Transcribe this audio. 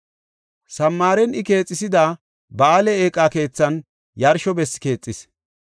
Samaaren I keexisida Ba7aale Eeqa Keethan yarsho bessi keexis.